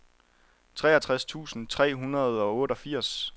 treogtres tusind tre hundrede og otteogfirs